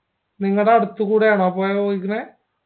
നിങ്ങടെ അടുത്തെകൂടെയാണോ പുയ ഒഴുകണെ